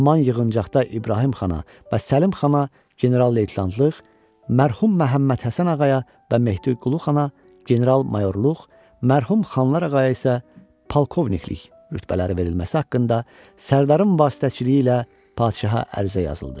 Haman yığıncaqda İbrahim Xana və Səlim Xana general-leytenantlıq, mərhum Məmmədhəsən ağaya və Mehdiqulu Xana general-mayorluq, mərhum Xanlar ağaya isə polkovniklik rütbələri verilməsi haqqında sərdarın vasitəçiliyi ilə padşaha ərizə yazıldı.